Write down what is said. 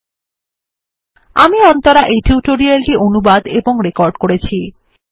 httpspoken tutorialorgNMEICT Intro আমি অন্তরা এই tutorial টি অনুবাদ এবং রেকর্ড করেছি